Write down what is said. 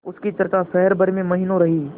उसकी चर्चा शहर भर में महीनों रही